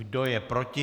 Kdo je proti?